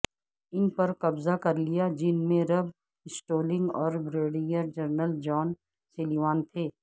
ان پر قبضہ کر لیا جن میں رب سٹولنگ اور بریگیڈیر جنرل جان سلیوان تھے